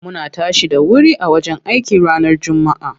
Muna tashi da wuri a wajen aiki ranar jummaa.